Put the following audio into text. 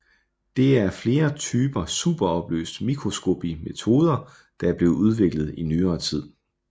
Det er af flere typer superopløst mikroskopimetoder der er blevet udviklet i nyere tid